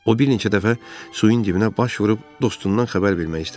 O bir neçə dəfə suyun dibinə baş vurub dostundan xəbər vermək istədi.